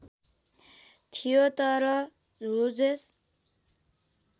थियो तर ह्युजेस